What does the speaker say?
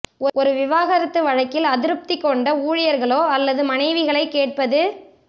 ஒரு விவாகரத்து வழக்கில் அதிருப்தி கொண்ட ஊழியர்களோ அல்லது மனைவிகளைக் கேட்பது